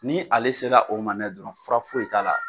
Ni ale sera o ma n'a ye dɔrɔn fura foyi i t'a la.